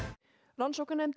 rannsóknarnefnd í